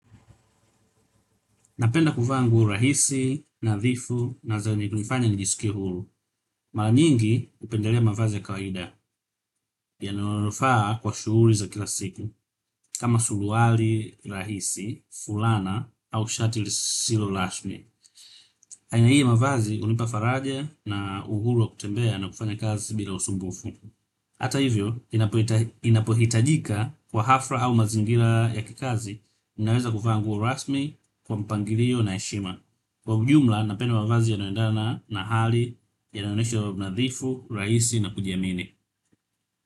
Napenda kuvaa nguo rahisi, nadhifu na zinazonifanya nijisikie huru. Mara nyingi hupendelea mavazi ya kawaida yananifaa kwa shughuli za kila siku kama suruali rahisi, fulana au shati lisilo rasmi. Aina hiyo mavazi hunipa faraja na uhuru wa kutembea na kufanya kazi bila usumbufu. Hata hivyo inapohitajika kwa hafla au mazingira ya kikazi unaweza kuvaa nguo rasmi iliyo na heshima. Kwa ujumla napenda mavazi yanayoendana na hali yanoenyesha unadhifu, rahisi na kujiamini.